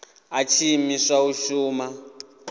a tshi imiswa u shuma